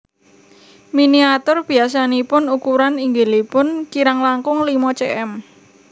Miniatur biyasanipun ukuran inggilipun kirang langkung limo cm